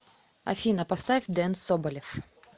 афина поставь дэн соболев